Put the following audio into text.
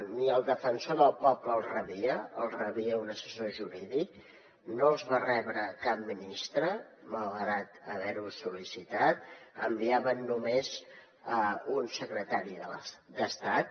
ni el defensor del poble els rebia els rebia un assessor jurídic no els va rebre cap ministre malgrat haver ho sol·licitat enviaven només un secretari d’estat